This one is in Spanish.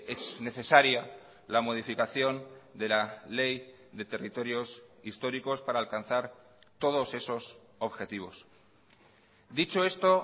es necesaria la modificación de la ley de territorios históricos para alcanzar todos esos objetivos dicho esto